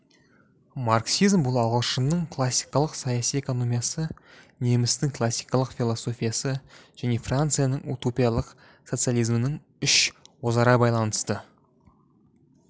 марксизм бұл ағылшынның класикалық саяси экономиясы немістің классикалық философиясы және францияның утопиялық социализмінің үш өзара байланысты